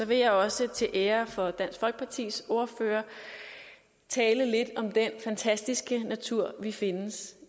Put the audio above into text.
vil jeg også til ære for dansk folkepartis ordfører tale lidt om den fantastiske natur der findes